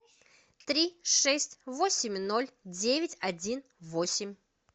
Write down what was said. три шесть восемь ноль девять один восемь